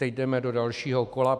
Teď jdeme do dalšího kola.